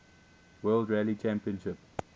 world rally championship